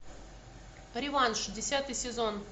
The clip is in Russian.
реванш десятый сезон